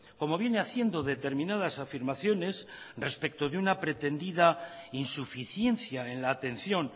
como viene haciendo determinadas afirmaciones respeto de una pretendida insuficiencia en la atención